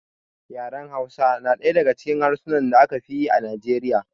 Yaran Hausa na ɗaya daga cikin harsunan da aka fi yi a Nijeriya.